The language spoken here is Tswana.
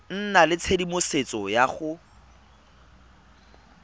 nna le tshedimosetso ya go